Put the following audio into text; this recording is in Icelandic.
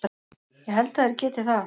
Ég held að þeir geti það.